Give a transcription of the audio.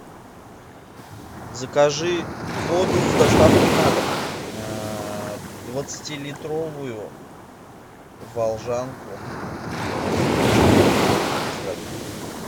закажи воду с доставкой на дом двадцатилитровую волжанку без газов